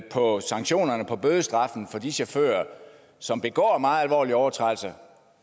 på sanktionerne på bødestraffen for de chauffører som begår meget alvorlige overtrædelser